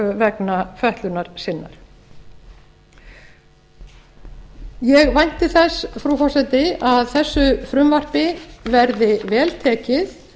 vegna fötlunar sinnar ég vænti þess frú forseti að þessu frumvarpi verði vel tekið